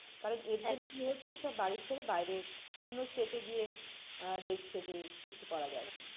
কারণ এর জন্যে কি হচ্ছে সব বাড়ির ছেড়ে বাইরে অন্য state এ গিয়ে আহ দেখছে যে কিছু করা যায় কি?